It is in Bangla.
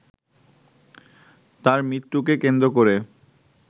তাঁর মৃত্যুকে কেন্দ্র করে